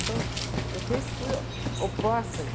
Então, eu sempre fui oposta a isso.